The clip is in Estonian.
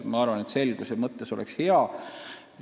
Ma arvan, et selguse mõttes oleks see säte hea.